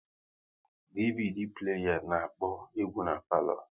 DVD pleya na-akpọ egwu n'palo